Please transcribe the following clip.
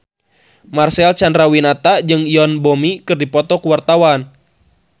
Marcel Chandrawinata jeung Yoon Bomi keur dipoto ku wartawan